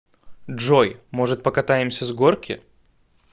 джой может покатаемся с горки